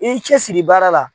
I y'i cɛsiri baara la